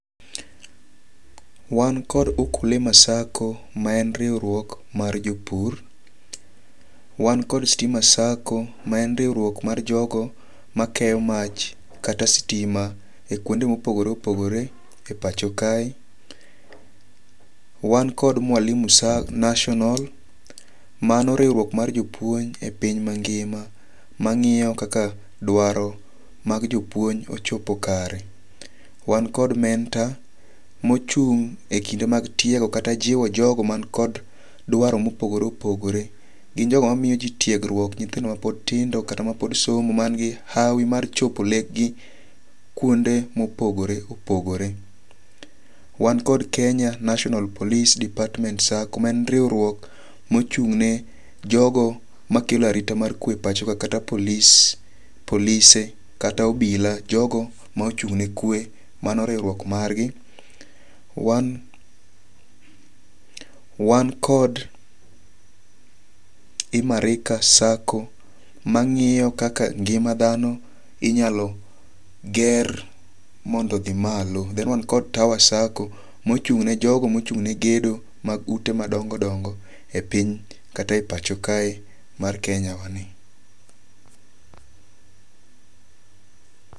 Wan kod Ukulima SACCO ma en riwruok mar jopur. Wan kod Stima SACCO ma en riwruok mar jogo makeyo mach kata sitima e kwonde mopogore opogore e pacho ka. Wan kod Mwalimu National mano riwruok mar jopuonj e piny mangima mang'iyo kaka dwaro mag jopuonj ochopo kare. Wan kod mentor mochung' e kinde mag tiego kata jiwo jogo man kod dwaro mopogore opogore. Gin jogo ma miyo ji tiegruok nyithindo mapod tindo kata ma pod somo man gi hawi mar chopo lek gi kuonde mopogore opogore. Wan kod Kenya National Police Department SACCO ma en riwruok mochung' ne jogo makelo arita mar kwe pacho ka kata polise kata obila jogo ma ochung' ne kwe mano riwruok mar gi. Wan kod Imarika SACCO mang'iyo kaka ngima dhano inyalo ger mondo odhi malo. Then wan kod Tower SACCO mochung' ne jogo mochung' ne gedo mag ute madongo dongo e piny kata e pacho kae mar Kenya wa ni.